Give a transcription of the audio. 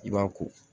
I b'a ko